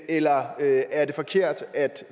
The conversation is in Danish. eller er det forkert at